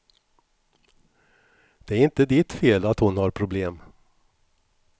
Det är inte ditt fel att hon har problem.